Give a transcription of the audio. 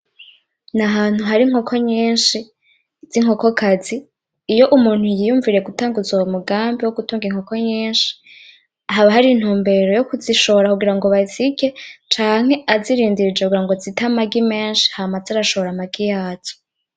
Ni ahantu hari inkoko nyinshi z'inkoko kazi, iyo umuntu yiyumviriye gutanguza uwo mugambi wo gutunga inkoko nyinshi, haba hari intumbero yo kuzishora kugirango bazirye, canke azirindirije kugira zite amagi menshi hama aze arashora amagi yazo.